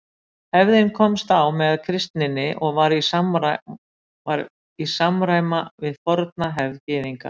Hefðin komst á með kristninni og var í samræma við forna hefð Gyðinga.